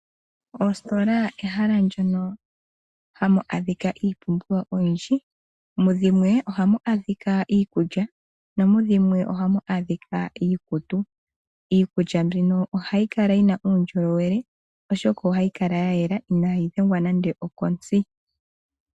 Oostola ehala ndjono hamu adhika iipumbiwa oyindji mudhimwe ohamu adhika iikulya nomudhimwe ohamu adhika iikutu. Iikulya mbino ohayi kala yi na uundjolowele oshoka ohayi kala ya yela inayi dhengwa nande okontsi.